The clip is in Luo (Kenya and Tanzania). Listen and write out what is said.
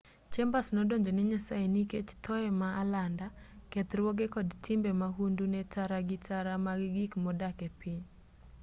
chambers nodonjo ne nyasaye nikech thoye ma alanda kethruoge kod timbe mahundu ne tara gi tara mag gik modak e piny